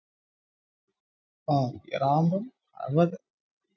ആഹ് അത്പോലത്തെ